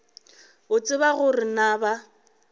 o tseba gore na ba